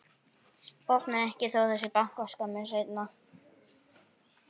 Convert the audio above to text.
Opnar ekki þó að það sé bankað skömmu seinna.